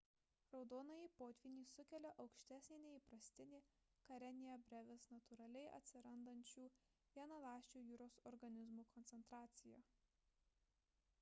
raudonąjį potvynį sukelia aukštesnė nei įprastinė karenia brevis natūraliai atsirandančių vienaląsčių jūros organizmų koncentracija